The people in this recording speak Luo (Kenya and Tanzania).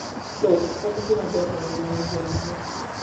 Dhok en gima ber ahinya ne jo ohala.